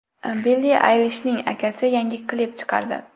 Billi Aylishning akasi yangi klip chiqardi .